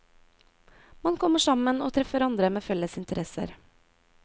Man kommer sammen og treffer andre med felles interesser.